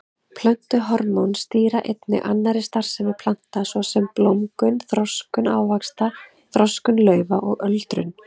Plöntuhormón stýra einnig annarri starfsemi plantna svo sem blómgun, þroskun ávaxta, þroskun laufa og öldrun.